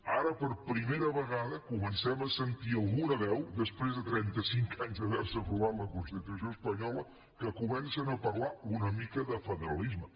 ara per primera vegada comencem a sentir algunes veus després de trenta cinc anys d’haver se aprovat la constitució espanyola que comencen a parlar una mica de federalisme